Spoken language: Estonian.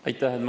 Aitäh!